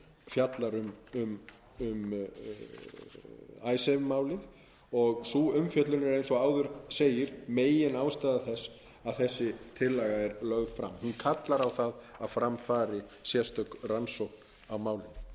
fjallar um icesave málið sú umfjöllun er eins og áður segir meginástæða þess að þessi tillaga er lögð fram hún kallar á það að fram fari sérstök rannsókn á málinu